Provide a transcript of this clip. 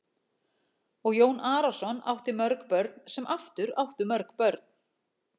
Og Jón Arason átti mörg börn sem aftur áttu mörg börn.